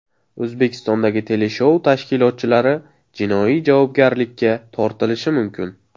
O‘zbekistondagi teleshou tashkilotchilari jinoiy javobgarlikka tortilishi mumkin .